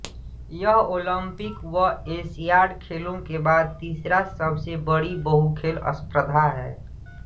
यह ओलंपिक व एशियाड खेलों के बाद तीसरा सबसे बड़ी बहुखेल स्पर्धा है